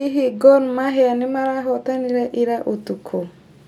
hihi gor mahia nĩ marahotanire ira ũtukũ